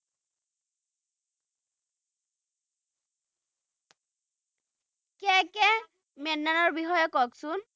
মেননৰ বিষয়ে কওকচোন